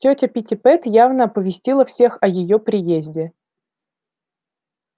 тётя питтипэт явно оповестила всех о её приезде